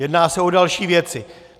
Jedná se o další věci.